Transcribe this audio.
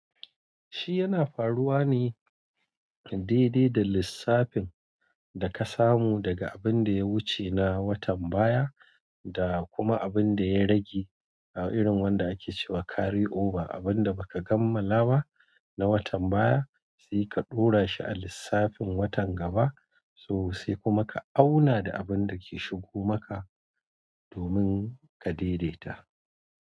Shi yana faruwa ne daidai da lissafin da ka samu daga abin da ya wuce na watan baya, da kuma abin da ya rage, irin wanda ake cewa carry over, abin da baka kammala ba na watan baya sai ka ɗora shi a lissafin watan gaba, so sai kuma ka auna da abin da ke shigo maka domin ka daidaita.